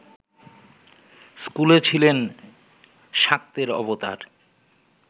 স্কুলে ছিলেন শাক্তের অবতার